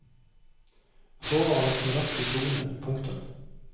Håret var nesten rødt i solen. punktum